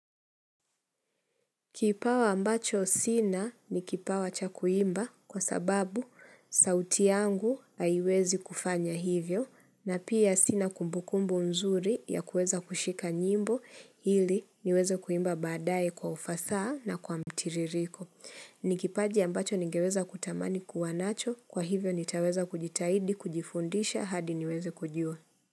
Kipawa ambacho sina ni kipawa cha kuimba kwa sababu sauti yangu haiwezi kufanya hivyo na pia sina kumbukumbu nzuri ya kueza kushika nyimbo ili niweze kuimba baadae kwa ufasaha na kwa mtiririko. Ni kipaji ambacho nigeweza kutamani kuwanacho kwa hivyo nitaweza kujitahidi kujifundisha hadi niweze kujua.